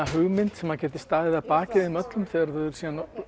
hugmynd sem geti staðið að baki þeim öllum þegar þau eru